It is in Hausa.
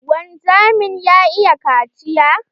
Wanzamin ya iya kaciya?